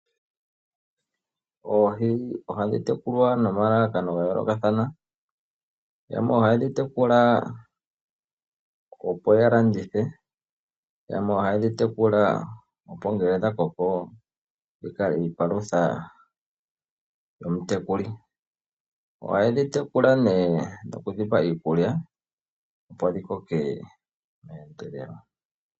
Oohi ohadhi tekulwa nomalalakano gayoolokathana, yamwe ohaye dhi tekula opo yalandithe, yamwe ohaye dhi tekula opo ngele dhakoko dhikale iipalutha yomutekuli. Ohaye dhi tekula nee nokudhi pa iikulya opo dhikoke meendelelo.